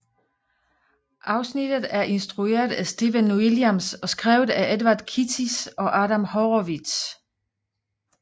Afsnittet er instrueret af Stephen Williams og skrevet af Edward Kitsis og Adam Horowitz